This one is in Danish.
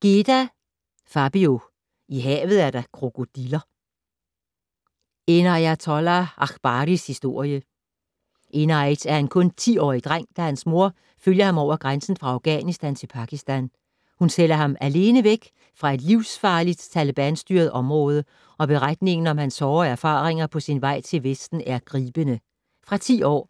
Geda, Fabio: I havet er der krokodiller: Enaiatollah Akbaris historie Enait er en kun 10-årig dreng, da hans mor følger ham over grænsen fra Afghanistan til Pakistan. Hun sender ham alene væk fra et livsfarligt talebanstyret område, og beretningen om hans hårde erfaringer på sin vej til vesten er gribende. Fra 10 år.